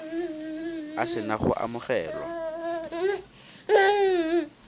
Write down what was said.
a se na go amogelwa